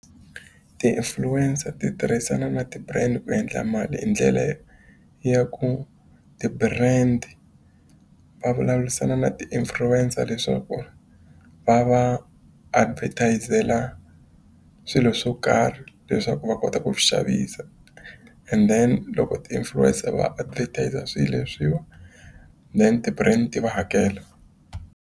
Ti-influencer ti tirhisana na ti-brand ku endla mali hi ndlela yo ya ku ti-brand va vulavurisana na ti-influencer leswaku va va advertise-ela swilo swo karhi leswaku va kota ku swi xavisa. And then loko ti-influencer va advertiser swilo leswiwa, then ti-brand ti va hakela.